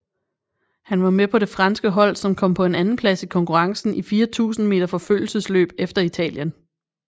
Han var med på det franske hold som kom på en andenplads i konkurrencen i 4000 meter forfølgelsesløb efter Italien